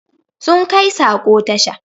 Sun kai sako tasha